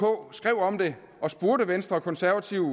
om det og spurgte venstre og konservative